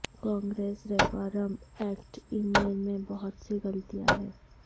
Congress reform act email میں بہت سے غلطیاں ہیں